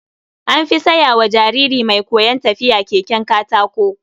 An fi saya wa jariri mai koyon tafiya keken katako.